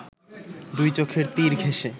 দুই চোখের তীর ঘেঁষে